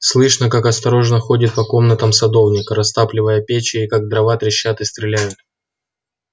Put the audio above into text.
слышно как осторожно ходит по комнатам садовник растапливая печи и как дрова трещат и стреляют